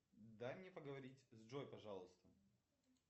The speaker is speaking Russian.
дай мне поговорить с джой пожалуйста